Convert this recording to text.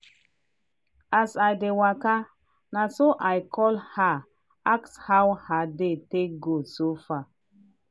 as i dey waka naso i call her ask how her day take go so far.